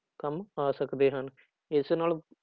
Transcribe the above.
ਕੰਮ ਆ ਸਕਦੇ ਹਨ ਇਸ ਨਾਲ